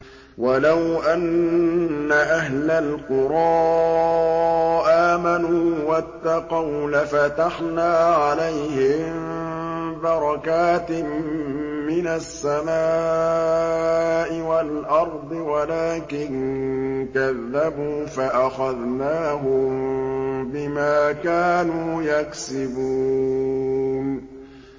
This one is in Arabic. وَلَوْ أَنَّ أَهْلَ الْقُرَىٰ آمَنُوا وَاتَّقَوْا لَفَتَحْنَا عَلَيْهِم بَرَكَاتٍ مِّنَ السَّمَاءِ وَالْأَرْضِ وَلَٰكِن كَذَّبُوا فَأَخَذْنَاهُم بِمَا كَانُوا يَكْسِبُونَ